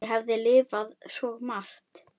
Ég hef lifað svo margt.